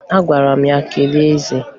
Agwara m ya, "gaa kelee eze!"